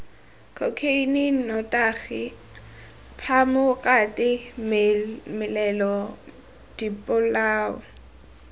khokheine nnotagi phamokate melelo dipolao